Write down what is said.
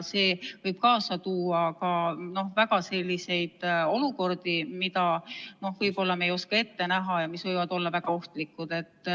See võib kaasa tuua selliseid olukordi, mida me võib-olla ei oska ette näha ja mis võivad olla väga ohtlikud.